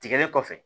Tigɛlen kɔfɛ